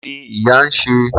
Kini iya n ṣe?